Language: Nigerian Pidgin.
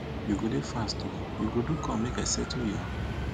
you go dey fast o you go do come make i settle you